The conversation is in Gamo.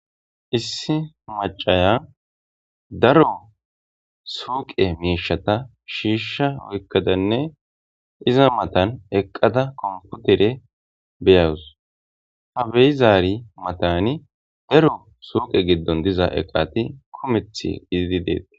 Issi macaya daro suuqe miishata shiishsha woykkadanne iza matan eqqada komputere beyawus ha beyizaari matani daro suuqe giddon diza eqati kumeth izidi deet.